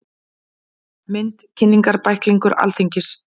Mynd: Kynningarbæklingur Alþingis.